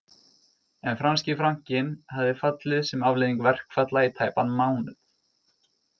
En franski frankinn hafði fallið sem afleiðing verkfalla í tæpan mánuð